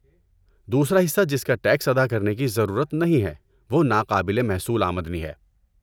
دوسرا حصہ جس کا ٹیکس ادا کرنے کی ضرورت نہیں ہے وہ ناقابل محصول آمدنی ہے۔